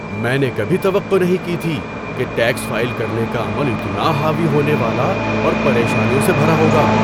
میں نے کبھی توقع نہیں کی تھی کہ ٹیکس فائل کرنے کا عمل اتنا حاوی ہونے والا اور پریشانیوں سے بھرا ہوگا۔